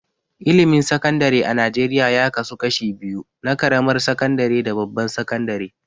Ilimin Sakandare a Najeriya ya kasu kashi biyu na ƙaramar sakandare da babbar sakandare.